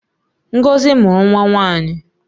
Ngozi mụrụ nwa nwanyị.